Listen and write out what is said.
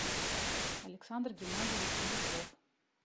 александр геннадьевич беляков